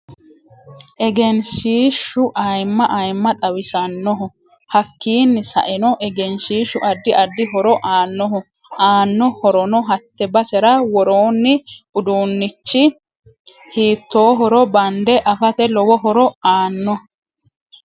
Egenshiishu ayiima ayiima xawisannoho hakiini sa'enno egenshiishu addi addi horo aanoho anno horonno hatte basera worooni uduunichi hiitoohoro bande afate lowo horo aanno